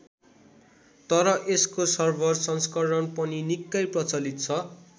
तर यसको सर्भर संस्करण पनि निक्कै प्रचलित छ।